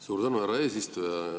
Suur tänu, härra eesistuja!